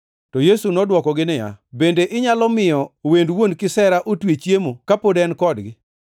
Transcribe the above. To Yesu nodwokogi niya, “Bende inyalo miyo wend wuon kisera otwe chiemo ka pod en kodgi?